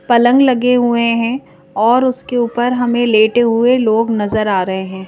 पलंग लगे हुए हैं और उसके ऊपर हमें लेटे हुए लोग नजर आ रहे हैं।